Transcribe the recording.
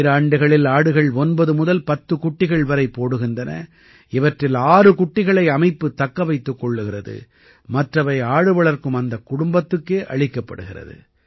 ஈராண்டுகளில் ஆடுகள் 9 முதல் 10 குட்டிகள் வரை போடுகின்றன இவற்றில் 6 குட்டிகளை அமைப்பு தக்க வைத்துக் கொள்கிறது மற்றவை ஆடுவளர்க்கும் அந்த குடும்பத்துக்கே அளிக்கப்படுகிறது